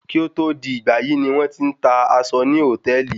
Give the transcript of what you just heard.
Kí ó tó di ìgbàyí ni wọ́n ti ń ta aṣọ ní hòtẹ́ẹ̀lì.